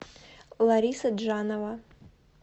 лариса джанова